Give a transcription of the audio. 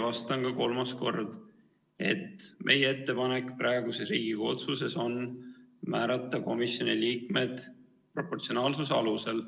Vastan ka kolmandat korda: meie ettepanek praeguses Riigikogu otsuse eelnõus on määrata komisjoni liikmed proportsionaalsuse alusel.